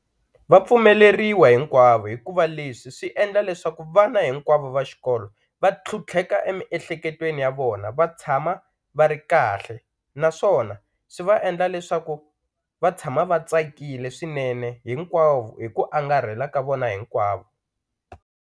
Va pfumeleriwa hinkwavo hikuva leswi swi endla leswaku vana hinkwavo va xikolo va tlhutlheka emiehleketweni ya vona va tshama va ri kahle naswona swi va endla leswaku va tshama va tsakile swinene hinkwavo hi ku angarhela ka vona hinkwavo.